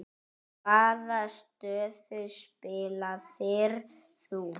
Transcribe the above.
Hvaða stöðu spilaðir þú?